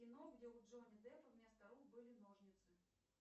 кино где у джонни деппа вместо рук были ножницы